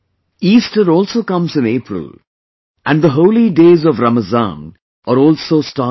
Easter also comes in April and the holy days of Ramadan are also starting